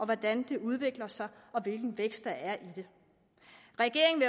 hvordan det udvikler sig og hvilken vækst der er i det regeringen